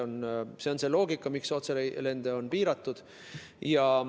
See on see loogika, miks otselende on piiratud.